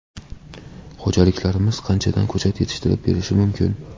Xo‘jaliklarimiz qanchadan ko‘chat yetishtirib berishi mumkin?